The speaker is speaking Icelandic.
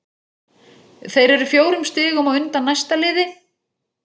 Þeir eru fjórum stigum á undan næsta liði.